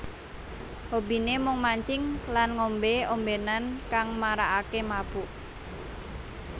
Hobine mung mancing lan ngombe ombenan kang marakake mabuk